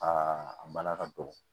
Aa a bala ka dɔgɔ